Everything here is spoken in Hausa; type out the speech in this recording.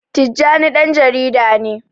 Tijjani ɗan jarida ne.